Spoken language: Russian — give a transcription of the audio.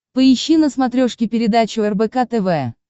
поищи на смотрешке передачу рбк тв